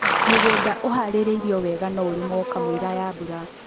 mũgũnda ũharĩrio wega no ũrĩmwo kamũira ya mbura